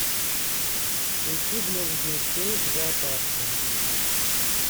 ищи близнецы в зоопарке